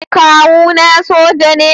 Kawuna soja ne.